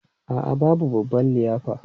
A'a, babu babban liyafa.